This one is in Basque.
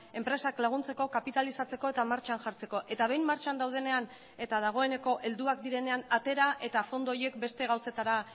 enpresak laguntzeko kapitalizatzeko eta martxan jartzeko eta behin martxan daudenean eta dagoeneko helduak direnean atera eta fondo horiek beste gauzetara